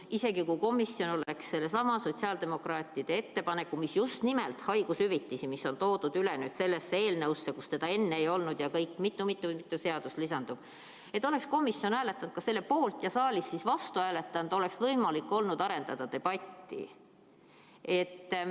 Isegi kui komisjon oleks selle sotsiaaldemokraatide ettepaneku, mis puudutab haigushüvitisi ja mis on toodud üle sellesse eelnõusse, kus seda enne ei olnud ja kuhu lisandub veel mitu-mitu seadust, poolt hääletanud ja siin saalis vastu hääletanud, oleks võimalik olnud arendada debatti.